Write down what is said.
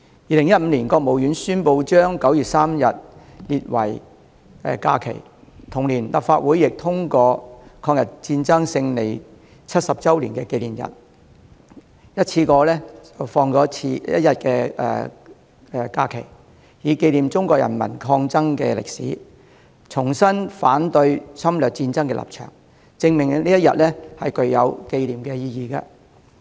2015年，國務院宣布將9月3日列為假期，同年立法會亦通過就"抗日戰爭勝利70周年紀念日"一次性增加1天假期，以紀念中國人民抗爭的歷史，重申反對侵略戰爭的立場，證明這一天具有紀念的意義。